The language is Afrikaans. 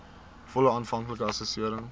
volle aanvanklike assessering